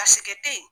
A sɛkɛ te yen